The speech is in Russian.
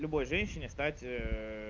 любой женщине стать